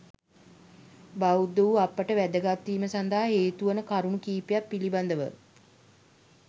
බෞද්ධ වූ අපට වැදගත් වීම සඳහා හේතු වන කරුණු කිහිපයක් පිළිබඳව